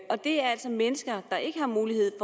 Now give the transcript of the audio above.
og det er altså mennesker der ikke har mulighed